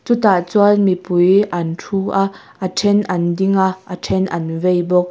chutah chuan mipui an thu a a then an ding a a then an vei bawk.